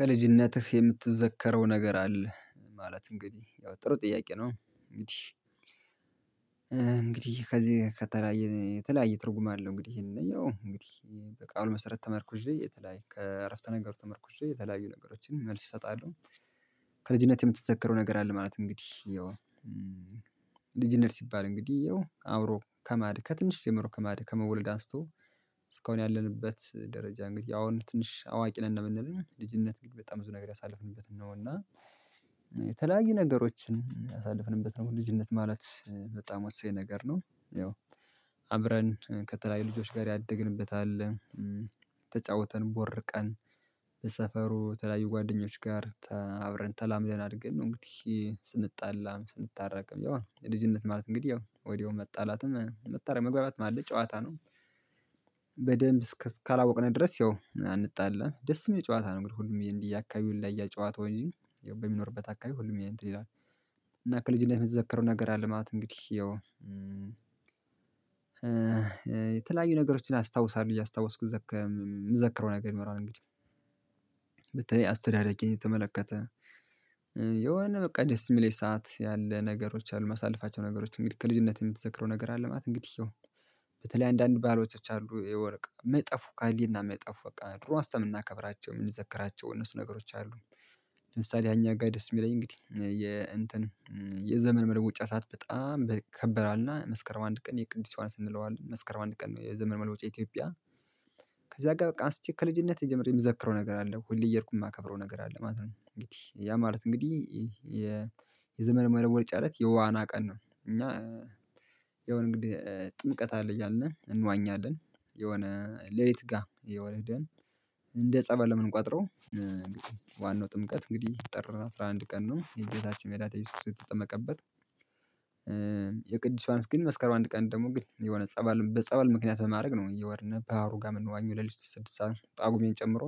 ከልጅነትህ የምትዘከረው ነገር አለ ማለት እንግዲህ ያው ጥሩ ጥያቄ ነው እንግዲህ። እንግዲህ ከዚህ ከተለያየ የተለያየ ትርጉም አለው እንግዲህ ይሄንን ያው እንግዲህ በቃሉ መሰረት ተመርኩዤ የተለያየ ከአረፍተ ነገር ተመርኩዤ የተለያዩ ነገሮችን መልስ እሰጣለሁ። ከልጅነት የምትዘከረው ነገር አለ ማለት እንግዲህ ይሄው። ልጅነት ሲባል እንግዲህ ይሄው አብሮ ከማድግ ከትንሽ ጀምሮ ከማደግ ከመወለድ አንስቶ እስካሁን ያለንበት ደረጃ እንግዲህ አሁን ትንሽ አዋቂ ነን እንደምንል ልጅነት በጣም ብዙ ነገር ያሳለፍንበት ነው እና። የተለያዩ ነገሮችን አሳልፍንበት ነው ልጅነት ማለት በጣም ወሳኝ ነገር ነው። ያው አብረን ከተለያዩ ልጆች ጋር ያደግንበት አለ። ተጫውተን ቦርቀን በሰፈሩ ተለያዩ ጓደኞች ጋር አብረን ተላምደን አድገን ነው። እንግዲህ ስንጣላም ስንታረቅም ያው ልጅነት ማለት እንግዲህ ያው ወዲያው መጣላትም መጣላት መግባባት አለ ጨዋታ ነው። እስካላወቅነው ድረስ ያው አንጣላም ደስ የሚል ጨዋታ ነው። እንግዲህ ሁሉም ይሄን እያካባቢ ይለያያል ያየ ጨዋታ እንጂ ያው በሚኖርበት አካባቢ ሁሉም ይሄን። እና ከልጅነት የሚዘከረው ነገር አለ ማለት እንግዲህ ያው የተለያዩ ነገሮችን አስታውሳለሁ እያስታወስኩ ዘከም የምዘከረው ነገር ይኖራል እንግዲህ። በተለይ አስተዳደጌ የተመለከተ የሆነ በቃ ደስ የሚለኝ ሰዓት ያለ ነገሮች አሉ። የማሳልፋቸው ነገሮች እንግዲህ ከልጅነት የምትዘክረው ነገር አለ? ማለት እንግዲህ ሰው በተለይ አንዳንድ ባዕላቶች አሉ የወርቅ የማይጠፉ ከህሊና የማይጠፉ በቃ ድሮ አንስተን የምናከብራቸው የምንዘክራቸው እነሱ ነገሮች አሉ። ለምሳሌ እኛ ጋር ደስ የሚለኝ እንግዲህ የ የዘመን መለወጫ ሰዓት በጣም ይከበራልና መስከረም አንድ ቀን የቅዱስ ዮሐንስ እንለዋል መስከረም አንድ ቀን የዘመን መለወጫ ኢትዮጵያ። ከዛ ጋር በቃ አንስቼ ከልጅነቴ ጀምሮ የምዘክረው ነገር አለ ሁሌ እየሄድኩ የማከብረው ነገር አለ ማለት ነው። እንግዲህ ያ ማለት እንግዲህ የዘመን መለወጫ እለት የዋና ቀን ነው። እና የሆነ እንግዲህ ጥምቀት አለ እያልን እንዋኛለን። ሌሊት ጋር የሆነ እንደ ጸበል እምንቆጥረው ዋናው ጥምቀት እንግዲህ ጥር አስራ አንድ ቀን ነው የጌታችን የመድኃኒታችን እየሱስ ክርስቶስ የተጠመቀበት። የቅዱስ ዮሐንስ ግን መስከረም አንድ ቀን ደግሞ ግን የሆነ ጸበል በጸበል ምክንያት በማድረግ ነው። እየሄድን በሃሩ ጋር የምንዋኘው ከሌሊቱ ስድስት ሰዓት ጷግሜን ጨምሮ።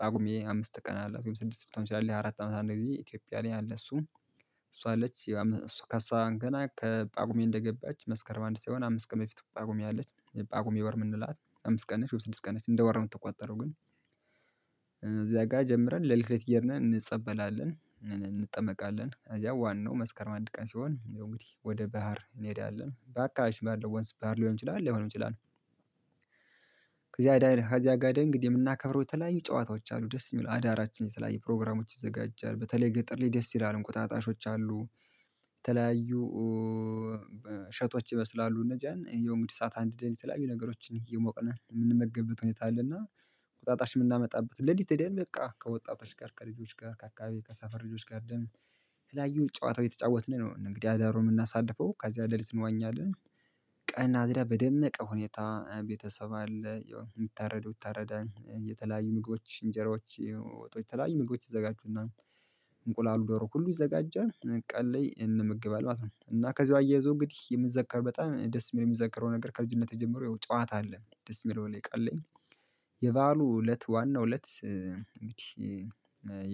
ጷጉሜ አምስት ቀን አላት ወይም ስድስት ልትሆን ትችላለች አራት አመት አንድ ጊዜ ኢትዮጵያ ላይ አለ። እሷ አለች ከእሷ ገና ከጳጉሜ እንደገባች መስከር አንድ ሳይሆን አምስት ቀን በፊት ጳጉሜ አለች። ጳጉሜ ወር የምንላት አምስት ቀን ነች ወይም ስድስት ቀን ነች እንደ ወር ነው የምትቆጠረው ግን። እዚያ ጋር ጀምረን ሌሊት እየሔድን እንጸበላለን እንጠመቃለን እዚያ ዋናው መስከርም አንድ ቀን ሲሆን እንግዲህ ወደ ባህር እንሄዳለን አካባቢ ባለው ወንዝ ባህር ሊሆን ይችላል ላይሆንም ይችላል። እዚያ ጋር ሄደን እንግዲህ የምናከብረው የተለያዩ ጨዋታዎች አሉ ደስ የሚል አዳራችን የተለያዩ ፕሮግራሞች ይዘጋጃል በተለይ ገጠር ላይ ደስ ይላል እንቁጣጣሽ አለ። የተለያዩ ሸጦች ይመስላሉ እነዚያን እንግዲህ እሳት አንድደን የተለያዩ ነገሮችን እየሞቅን የምንመገብበት ሁኔታ አለና። እንቁጣጣሽ የምናመጣበት ሌሊት ሔደን በቃ ከወጣቶች ጋር ከልጆች ጋር ከአካባቢ ከሰፈር ልጆች ጋር ደግሞ የተለያዩ ጨዋታ እተጫወትን ነው። እንግዲህ አዳሩን የምናሳልፈው ከዚያ ሌሊት እንዋኛለን። ቀና እዚህ በደመቀ ሁኔታ ቤተሰብ አለ የሚታረደው ይታረዳል የተለያዩ ምግቦች እንጀራዎች ወጥ የተለያዩ ምግቦች ይዘጋጁና። እንቁላል ዶሮ ሁሉ ይዘጋጀል ቀን ላይ እንመገባለን ማለት ነው። እና ከዚሁ አያይዞ እንግዲህ የሚዘከር በጣም ደስ የሚዘከረው ነገር ከልጅነት ጀምሮ ጨዋታ አለ ደስ የሚለው ቀን ላይ። የበአሉ እለት ዋናው እለት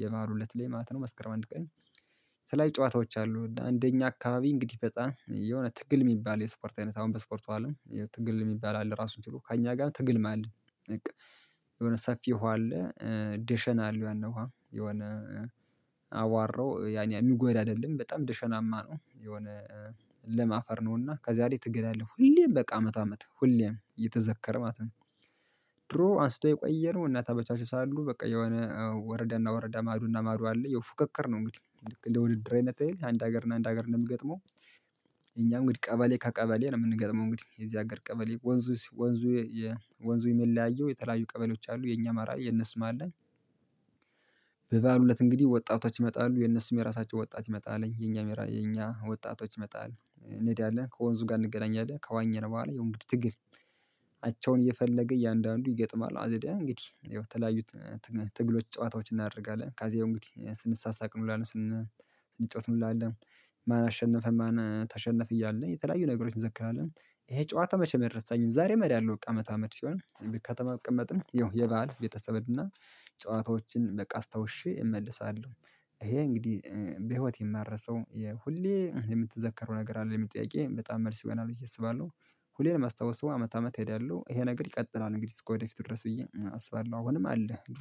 የበአሉ እለት ላይ ማለት ነው። መስከረም አንድ ቀን የተለያዩ ጨዋታዎች አሉ እና እንደኛ አካባቢ እንግዲህ በጣም የሆነ ትግል የሚባል የስፖርት አይነት አሁን በስፖርቱ አለም። ትግል የሚባል ራሱን ችሎ ከእኛ ጋር ትግል ማለት የሆነ ሰፊ ውሃ አለ። ዴሸን አለ ዋና ውሃ የሆነ አዋራው ያን ያህል የሚጎዳ አይደለም በጣም ደሸናማ የሆነ ለም አፈር ነውና ከዛ ላይ ትግል አለ ሁሌም በቃ አመት አመት ሁሌም የተዘከረ ማለት ነው። ድሮ አንስቶ የቆየ ነው። እናት አባቶቻቸው ሳሉ በቃ የሆነ ወረዳና ወረዳ ማዶና ማዶ አለ የ ፉክክር ነው እንግዲህ ልክ እንደ ውድድር አይነት አንድ ሀገር እና አንድ ሀገር ነው የሚገጥመው። እኛ እንግዲህ ቀበሌ ከቀበሌ ነው የምንገጥመው እንግዲህ የዚህ ሀገር ቀበሌ ወንዙ ወንዙ የሚለያየው የተለያዩ ቀበሌዎች አሉ የኛ አማራ የነሱም አለ። በባዕሉ እለት እንግዲህ ወጣቶች ይመጣሉ የነሱም የራሳቸው ወጣት ይመጣል የኛ ወጣቶች ይመጣሉ እንሄዳለን ከወንዙ ጋር እንገናኛለን ከዋኘን በኋላ ያው እንግድህ ትግል። አቻውን እየፈለገ እያንዳንዱ ይገጥማል አይደለ እንግዲህ ይኸው የተለያዩ ትግሎች ጨዋታዎች እናደርጋለን ከዚያው እንግዲህ ስንሳሳቅ እንዉላለን። ስንጫወት እንዉላለን። ማን አሸነፈ? ማን ተሸነፈ? እያልን የተለያዩ ነገሮችን እንዘክራለን። ይሄ ጨዋታ መቼም አይረሳኝም። ዛሬ እሄዳለሁ ከአመት አመት ሲሆን ከተማ ብቅመጥም የበአል ቤተሰብንና ጨዋታዎችን በቃ አስታውሼ እመለሳለሁ። ይሄ እንግዲህ በህይወት የማረሰው የሁሌ የምትዘከረው ነገር አለ የሚል ጥያቄ በጣም መልስ ይሆናል ብየ እሰባለሁ። ሁሌ የማስታዉሰው አመት አመት እሄዳለሁ ይሄ ነገር ይቀጥላል እንግዲህ እስከ ወደፊቱ ድረስ ብዬ አስባለሁ። አሁንም አለ።